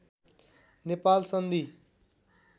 नेपाल सन्धि